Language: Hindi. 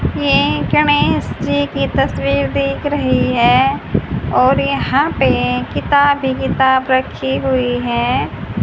ये गणेश जी की तस्वीर दिख रही है और यहां पे किताब हि किताब रखी हुई है।